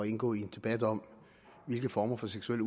indgå i en debat om hvilke former for seksuel